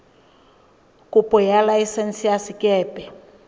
kopo ya laesense ya sekepe